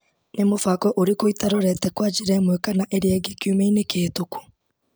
Nĩ mũbango ũrĩkũ itarorete kwa njĩra ĩmwe kana ĩngĩ kiumia-inĩ kĩhetũku?